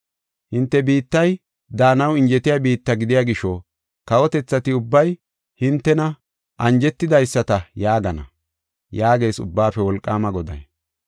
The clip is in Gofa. Hinte biittay daanaw injetiya biitta gidiya gisho, kawotethati ubbay hintena anjetidaysata yaagana” yaagees Ubbaafe Wolqaama Goday.